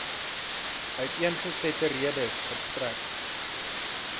uiteengesette redes verstrek